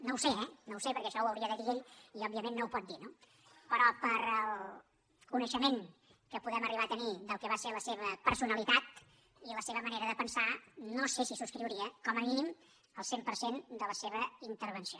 no ho sé eh no ho sé perquè això ho hauria de dir ell i òbviament no ho pot dir no però pel coneixement que podem arribar a tenir del que va ser la seva personalitat i la seva manera de pensar no sé si subscriuria com a mínim el cent per cent de la seva intervenció